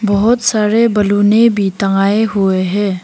बहोत सारे बैलूने भी टांगे हुए है।